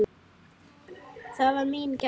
Það var mín gæfa.